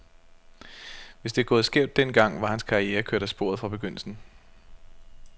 Hvis det var gået skævt den gang, var hans karriere kørt af sporet fra begyndelsen.